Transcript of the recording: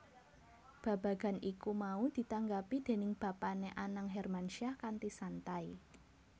Babagan iku mau ditanggapi déning bapané Anang Hermansyah kanthi santai